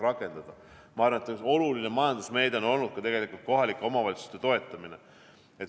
Ma arvan, et üks oluline majandusmeede on olnud ka kohalike omavalitsuste toetamine.